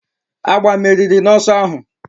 Agba meriri n'ọsọ ahụ